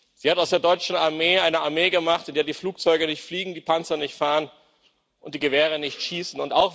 Sie hat aus der deutschen Armee eine Armee gemacht, in der die Flugzeuge nicht fliegen, die Panzer nicht fahren und die Gewehre nicht schießen.